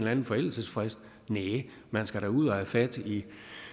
anden forældelsesfrist næ man skal da ud og have fat i